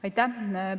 Aitäh!